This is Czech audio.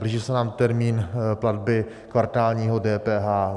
Blíží se nám termín platby kvartálního DPH.